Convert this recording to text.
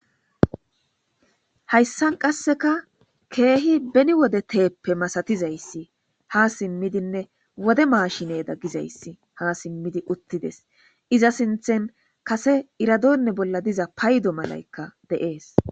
hayssan qasseka keehi beni wode teeppe masatizayssi ha simmidinne wode maashineda gizayssi ha simmidi uttides iza sinthen kase iradonne bolla diza paydo malaykka deees